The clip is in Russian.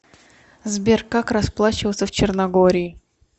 сбер как расплачиваться в черногории